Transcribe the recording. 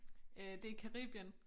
Øh det i Caribien